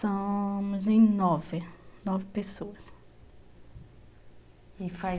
Somos em nove, nove pessoas.